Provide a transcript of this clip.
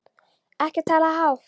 Ekki tala hátt!